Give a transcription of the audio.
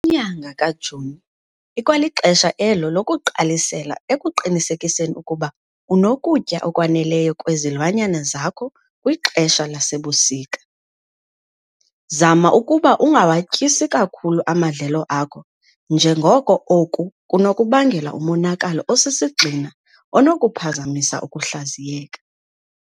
Inyanga kaJuni, ikwalixesha elo lokuqalisela ekuqinisekiseni ukuba unokutya okwaneleyo kwezilwanyana zakho kwixesha lasebusika. Zama ukuba ungawatyisi kakhulu amadlelo akho njengoko oku kunokubangela umonakalo osisigxina onokuphazamisa ukuhlaziyeka.